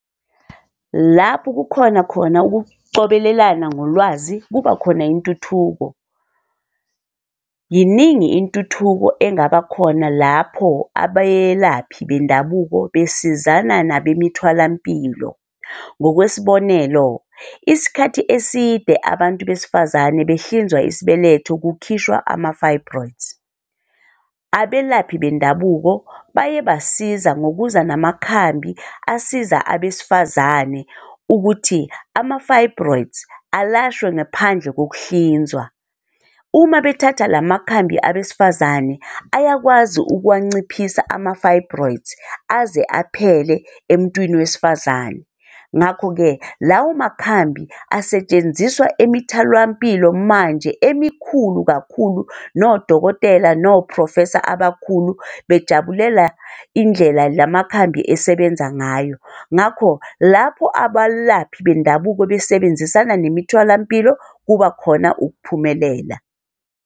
Lapho kukhona khona ukucobelelana ngolwazi kubakhona intuthuko. Yiningi intuthuko engaba khona lapho abelaphi bendabuko besizana nabemitholampilo. Ngokwesibonelo, isikhathi eside abantu besifazane behlinzwa isibeletho kukhishwa ama-fibroids. Abelaphi bendabuko baye basiza ngokuza namakhambi asiza abesifazane ukuthi ama-fibroids alashwe ngaphandle kokuhlinzwa. Uma bethatha la makhambi abesifazane, ayakwazi ukuwanciphisa ama-fibroids aze aphele emntwini wesifazane. Ngakho-ke, lawo makhambi asetshenziswa emitholampilo manje emikhulu kakhulu nodokotela, no-professor abakhulu bejabulela indlela la makhambi esebenza ngayo. Ngakho lapho abalaphi bendabuko besebenzisana nemitholampilo, kuba khona ukuphumelela.